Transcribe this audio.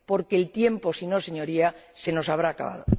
Porque el tiempo, si no, Señoría, se nos habrá acabado.